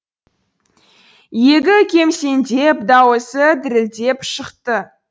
иегі кемсеңдеп дауысы дірілдеп шықты